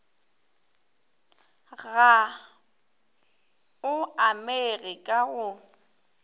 ga o amege ka go